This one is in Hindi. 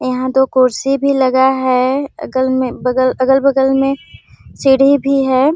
यहाँ दो खुर्सी भी लगा है अगल मे बगल अगल-बगल मे सीढ़ी भी है।